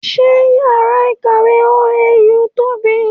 Sé yàrá ìkàwé OAU tóbi?